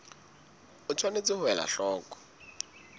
o tshwanetse ho ela hloko